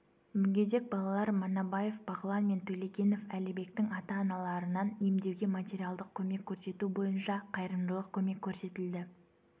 мүгедек балалар манабаев бағлан мен төлегенов әлібектің ата-аналарынан емдеуге материалдық көмек көрсету бойынша қайырымдылық көмек көрсетілді